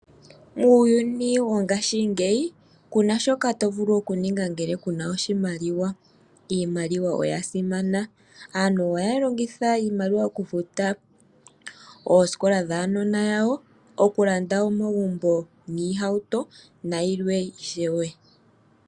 Muuyuni wongaashingeyi ku na shoka to vulu okuninga ngele ku na oshimaliwa. Iimaliwa oya simana. Aantu oha ya longitha iimaliwa okufuta oosikola dhuunona wawo, okulanda omagumbo niihauto nayilwe ishewe.